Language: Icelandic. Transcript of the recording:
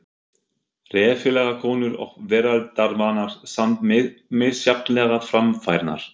Reffilegar konur og veraldarvanar, samt misjafnlega framfærnar.